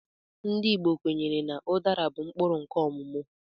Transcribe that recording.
Ndị Igbo kwenyere na udara bụ mkpụrụ nkè ọmụmụ